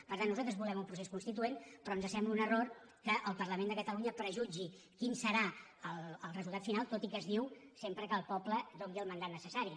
per tant nosaltres volem un procés constituent pe·rò ens sembla un error que el parlament de catalu·nya prejutgi quin serà el resultat final tot i que es diu sempre que el poble hi doni el mandat necessari